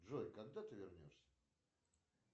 джой когда ты вернешься